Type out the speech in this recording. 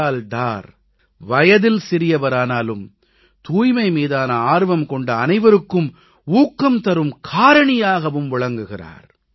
பிலால் டார் வயதில் சிறியவரானாலும் தூய்மை மீதான ஆர்வம் கொண்ட அனைவருக்கும் ஊக்கந்தரும் காரணியாகவும் விளங்குகிறார்